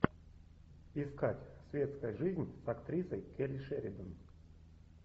искать светская жизнь с актрисой келли шеридан